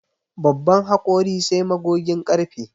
Babban hakori sai magogin ƙarfe